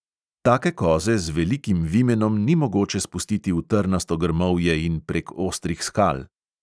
Take koze z velikim vimenom ni mogoče spustiti v trnasto grmovje in prek ostrih skal.